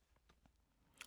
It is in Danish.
DR K